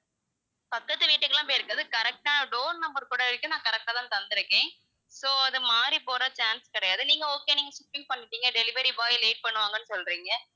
பக்கத்துக்கு வீட்டுக்குல்லாம் போயிருக்காது, correct ஆ door number கூட வரைக்கும் நான் correct ஆதான் தந்துருக்கேன், so அது மாறி போக chance கிடையாது, நீங்க okay நீங்க delivery boy late பண்ணுவாங்கன்னு சொல்றீங்க,